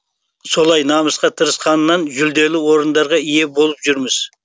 солай намысқа тырысқаннан жүлделі орындарға ие болып жүрміз